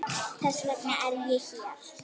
Þess vegna er ég hér.